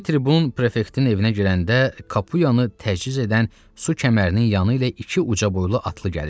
Hərbi tribun prefektin evinə girəndə Kapuyanı təchiz edən su kəmərinin yanı ilə iki uca boylu atlı gəlirdi.